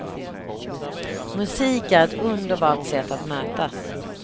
Musik är ett underbart sätt att mötas.